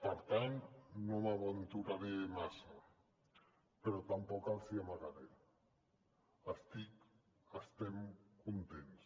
per tant no m’aventuraré massa però tampoc els hi amagaré estic estem contents